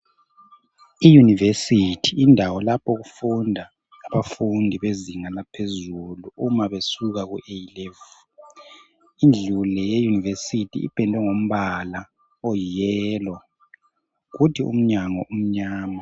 I University yindawo lapho okufunda abafundi bezinga laphezulu uma besuka ku A level. Indlu le ye university iphendwe ngombala oyi yellow kuthi umnyango umnyama.